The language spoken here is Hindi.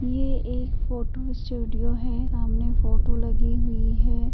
ये एक फोटो स्टूडियो है। सामने फोटो लगी हुई है।